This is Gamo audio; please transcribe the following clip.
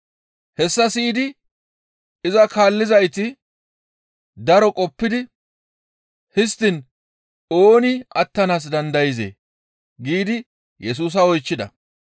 Hessa siyidi iza kaallizayti daro qoppidi, «Histtiin ooni attanaas dandayzee?» giidi Yesusa oychchida.